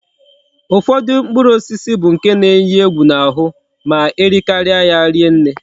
Ufodu mkpụrụ osisi bu nke na eyi egwu na ahu ma erikaria ya rie nne